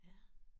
Ja